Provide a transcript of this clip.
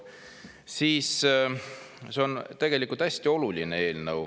See on tegelikult hästi oluline eelnõu.